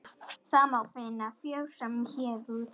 Þar má finna frjósöm héruð.